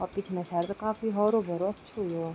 और पिछने साइड त काफी हौरो भौरो अच्छु हुयुं।